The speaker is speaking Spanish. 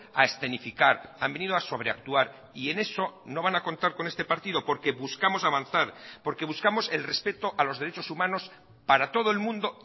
a escenificar han venido a sobreactuar y en eso no van a contar con este partido porque buscamos avanzar porque buscamos el respeto a los derechos humanos para todo el mundo